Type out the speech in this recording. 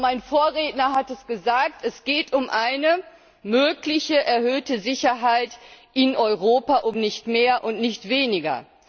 Mein Vorredner hat es gesagt Es geht um eine mögliche erhöhte Sicherheit in Europa, um nicht mehr und nicht weniger.